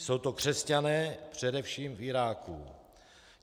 Jsou to křesťané především v Iráku.